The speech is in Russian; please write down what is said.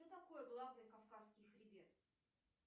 что такое главный кавказский хребет